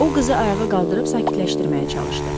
O qızı ayağa qaldırıb sakitləşdirməyə çalışdı.